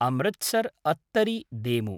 अमृत्सर् अत्तरि देमु